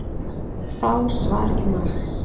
Fá svar í mars